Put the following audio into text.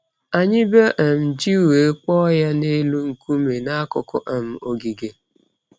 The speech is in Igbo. Anyị bee um ji wee kpọọ ya n’elu nkume n’akụkụ um ogige.